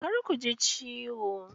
Kar ku ji ciwo.